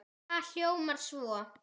Það hljómar svo